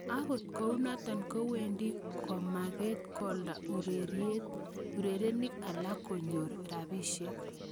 Agot kounoto kowendi komakat kolda urerenik alak so konyor rabisiek.